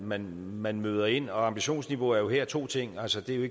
man man møder ind ambitionsniveau er jo her to ting altså det jo